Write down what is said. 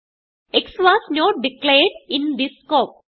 x was not declared in this scope